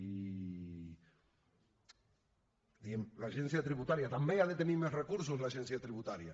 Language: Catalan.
i diguem l’agència tributària també ha de tenir més recursos l’agència tributària